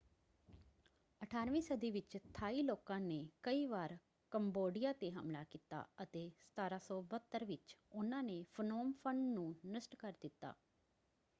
18 ਵੀਂ ਸਦੀ ਵਿੱਚ ਥਾਈ ਲੋਕਾਂ ਨੇ ਕਈ ਵਾਰ ਕੰਬੋਡੀਆਂ ‘ਤੇ ਹਮਲਾ ਕੀਤਾ ਅਤੇ 1772 ਵਿੱਚ ਉਹਨਾਂ ਨੇ ਫਨੋਮ ਫ਼ਨ ਨੂੰ ਨਸ਼ਟ ਕਰ ਦਿੱਤਾ।